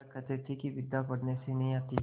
वह कहते थे कि विद्या पढ़ने से नहीं आती